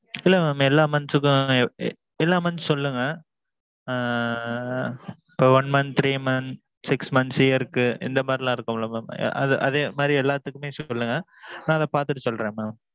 ஆ இல்ல mam எல்லா months க்கும். எல்லா months க்கும் சொல்லுங்க. ஆ ஆ. one month three months six months year க்கு இந்த மாதிரி எல்லாம் இருக்கும் இல்ல mam அதே மாதிரி எல்லாத்துக்கும் சொல்லுங்க. நான் அதே பாத்துட்டு சொல்றேன் mam.